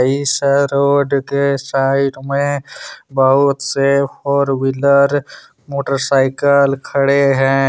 इस रोड के साइड में बहुत से फोर व्हीलर मोटरसाइकल खड़े है।